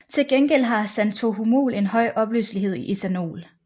Til gengæld har xanthohumol en høj opløselighed i ethanol